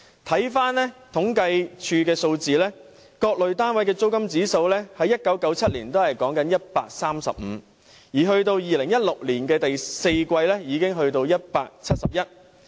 政府統計處的數字顯示，各類單位的租金指數在1997年是 135， 及至2016年第四季已上升至171。